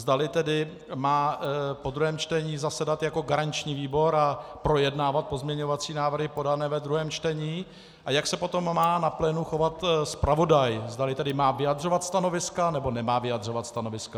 Zdali tedy má po druhém čtení zasedat jako garanční výbor a projednávat pozměňovací návrhy podané ve druhém čtení a jak se potom má na plénu chovat zpravodaj - zdali tedy má vyjadřovat stanoviska, nebo nemá vyjadřovat stanoviska.